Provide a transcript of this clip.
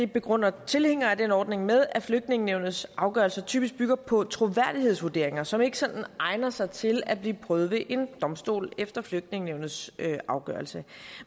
begrunder tilhængere af den ordning med at flygtningenævnets afgørelser typisk bygger på troværdighedsvurderinger som ikke sådan egner sig til at blive prøvet ved en domstol efter flygtningenævnets afgørelse